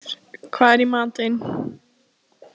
Sigurgeir, hvað er í matinn?